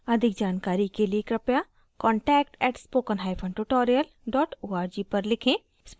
अधिक जानकारी के लिए कृपया contact at spoken hyphen tutorial dot org पर लिखें